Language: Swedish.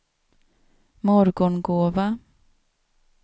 Morgongåva